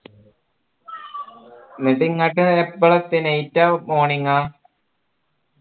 എന്നിട്ട് ഇങ്ങട്ട് എപ്പളാ എത്തിയെ night അ morning അ